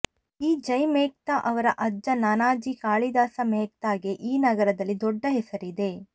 ಈ ಜೈ ಮೆಹ್ತಾ ಅವರ ಅಜ್ಜ ನಾನಾಜಿ ಕಾಳಿದಾಸ ಮೆಹ್ತಾಗೆ ಈ ನಗರದಲ್ಲಿ ದೊಡ್ಡ ಹೆಸರಿದೆ